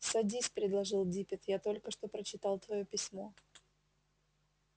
садись предложил диппет я только что прочитал твоё письмо